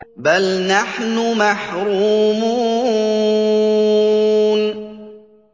بَلْ نَحْنُ مَحْرُومُونَ